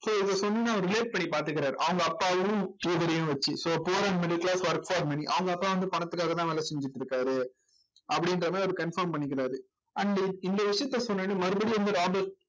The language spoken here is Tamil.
so இதை relate பண்ணி பார்த்துக்கிறாரு அவங்க அப்பாவையும் வச்சு so poor and middle class work for money அவங்க அப்பா வந்து பணத்துக்காகதான் வேலை செஞ்சுட்டு இருக்காரு அப்படின்ற மாதிரி அவரு confirm பண்ணிக்கிறாரு and இந்த விஷயத்த சொன்னவுடனே மறுபடியும் வந்து ராபர்ட்